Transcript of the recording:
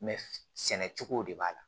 sɛnɛ cogo de b'a la